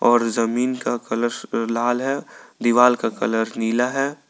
.और जमीन का कलर लाल है दीवाल का कलर नीला है।